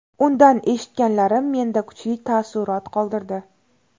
Undan eshitganlarim menda kuchli taassurot qoldirdi.